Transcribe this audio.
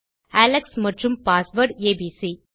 Alex மற்றும் password ABC